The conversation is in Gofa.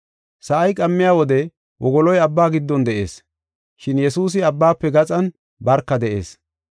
Sa7ay qammiya wode wogoloy abba giddon de7ees, shin Yesuusi abbaafe gaxan barka de7ees.